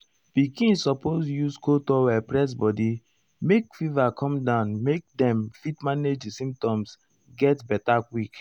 pikin suppose use cold towel press body make fever come down make dem fit manage di symptoms get beta quick.